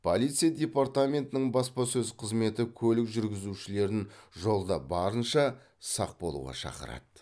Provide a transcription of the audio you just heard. полиция департаментінің баспасөз қызметі көлік жүргізушілерін жолда барынша сақ болуға шақырады